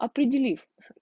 определив